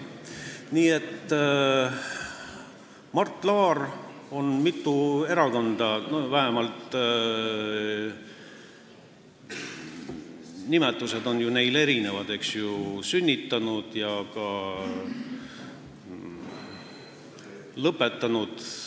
Mart Laar on mitu erakonda – vähemalt nimed on neil ju erinevad – sünnitanud ja ka lõpetanud.